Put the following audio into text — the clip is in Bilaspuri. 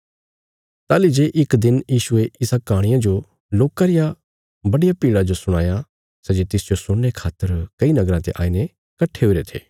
ताहली जे इक दिन यीशुये इस कहाणिया जो लोकां रिया बड्डिया भीड़ा जो सुणाया सै जे तिसजो सुणने खातर कई नगराँ ते आईने कट्ठे हुईरे थे